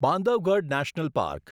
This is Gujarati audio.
Bandhavgarh national park